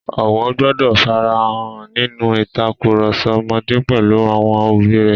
Ọ̀wọ̀ gbọdọ̀ fara hàn nínú ìtakùrọ̀sọ ọmọdé pẹ̀lú àwọn òbí rẹ̀.